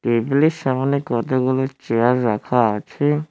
টেবিলের সামনে কতগুলো চেয়ার রাখা আছে।